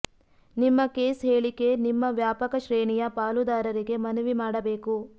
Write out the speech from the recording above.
ನಿಮ್ಮ ಕೇಸ್ ಹೇಳಿಕೆ ನಿಮ್ಮ ವ್ಯಾಪಕ ಶ್ರೇಣಿಯ ಪಾಲುದಾರರಿಗೆ ಮನವಿ ಮಾಡಬೇಕು